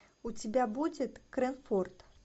у тебя будет крэнфорд